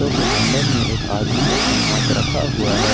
Auto handle में एक आदमी अपना हाथ रखा हुआ है।